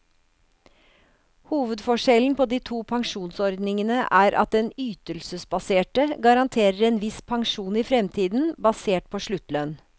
Hovedforskjellen på de to pensjonsordningene er at den ytelsesbaserte garanterer en viss pensjon i fremtiden, basert på sluttlønn.